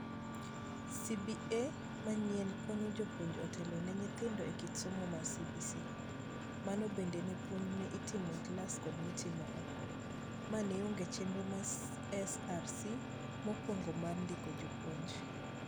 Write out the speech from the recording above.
CBA manyien konyo jopuonje otelo ne nyithindo e kit somo mar CBC. Mano bende ne puonj ma itimo e klas kod maitimo oko. Mae neonge e chenro mar SRC mokwongo mar ndiko jopuonj.